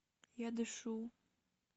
я дышу